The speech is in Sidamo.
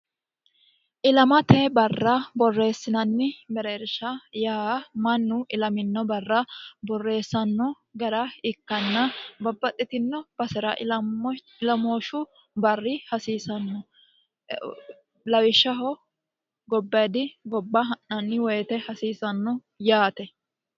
ilamote barra borreessinanni mereersha yaa mannu ilamino barra borreessanno gara ikkanna babbaxxitino basira ilamooshu barri hasiisanno lawishshaho gobbedi gobba ha'nanni woyite hasiisanno yaate